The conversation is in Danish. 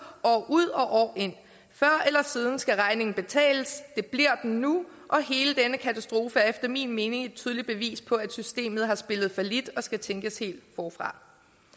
år ud og år ind før eller siden skal regningen betales det bliver den nu og hele denne katastrofe er efter min mening et tydeligt bevis på at systemet har spillet fallit og skal tænkes helt forfra